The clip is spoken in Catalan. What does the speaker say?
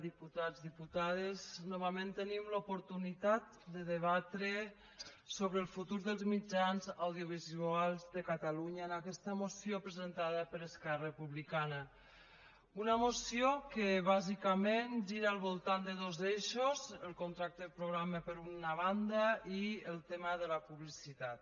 diputats diputades novament tenim l’oportunitat de debatre sobre el futur dels mitjans audiovisuals de catalunya en aquesta moció presentada per esquerra republicana una moció que bàsicament gira al voltant de dos eixos el contracte programa per una banda i el tema de la publicitat